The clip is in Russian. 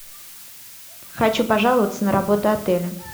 хочу пожаловаться на работу отеля